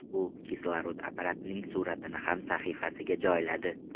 U kislorod apparatining suratini ham sahifasiga joyladi.